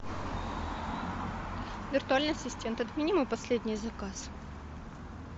виртуальный ассистент отмени мой последний заказ